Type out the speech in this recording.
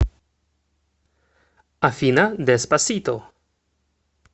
афина деспасито